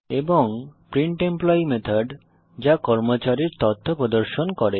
এবং print employee method যা কর্মচারীর তথ্য প্রদর্শন করে